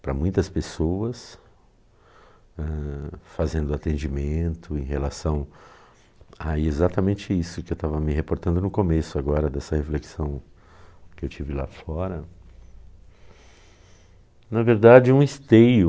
para muitas pessoas hã, fazendo atendimento em relação a exatamente isso que eu estava me reportando no começo agora dessa reflexão que eu tive lá fora na verdade um esteio